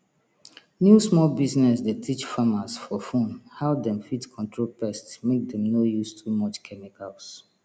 new small business dey teach farmers for phone how dem fit control pest mek dem no use too much chemicals